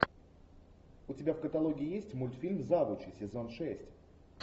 у тебя в каталоге есть мультфильм завучи сезон шесть